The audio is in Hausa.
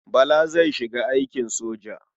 Bala zai shiga aikin soja.